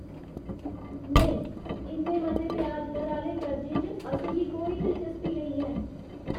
नेईं! इन्ने मते ब्याज दर आह्‌ले कर्जें च असें गी कोई दिलचस्पी नेईं ऐ।